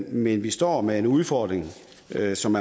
men vi står med en udfordring der som